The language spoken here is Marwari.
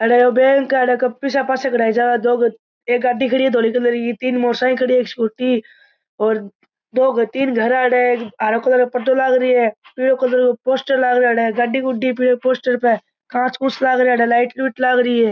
अठे ओ बैंक है अठे पिसा पयसा कढ़ायी जावे दो एक गाड़ी खड़ी है धोले कलर की तीन मोटरसाइकिल खड़ी है स्कूटी और दो तीन घर है हराे कलर काे पर्दो लाग रियो पीला कलर को पोस्टर लाग रियो है अठे गाड़ी गुड़ी पोस्टर पे घास फूस लाग रिया अठे लाइट लूट लागरी अठे।